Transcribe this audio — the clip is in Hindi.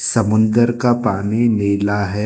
समुन्दर का पानी नीला है।